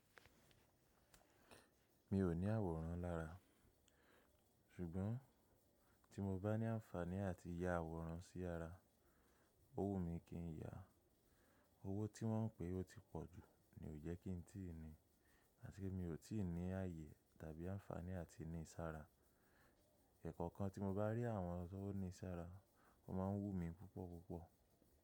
Mi ò ní àwòrán lára, ṣùgbọ́n tí mo bá ní àǹfààní àti ya àwòrán sí ara, ó wù mi kí n yàá. Owó tí wọ́n ń pèé ó ti pọ̀ jù ni ò jẹ́ kí n tíì ni, àti pé mi ò tí ì ní ààyè tàbí àǹfààní àti níi sára. Ẹ̀kọ̀kan tí mo bá rí àwọn tó ní ìsara, kò máa ń wú mi púpọ̀ púpọ̀.